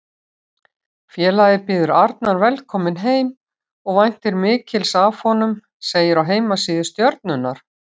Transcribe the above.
Félagið býður Arnar velkominn heim og væntir mikils af honum, segir á heimasíðu Stjörnunnar.